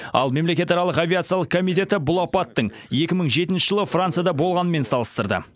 ал мемлекетаралық авиациялық комитеті бұл апаттың екі мың жетінші жылы францияда болғанымен салыстырды